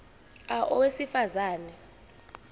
a owesifaz ane